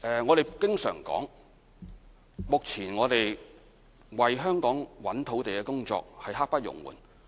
我們經常說，目前為香港尋找土地的工作刻不容緩。